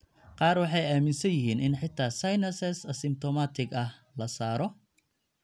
Qaar waxay aaminsan yihiin in xitaa sinuses asymptomatic ah la saaro.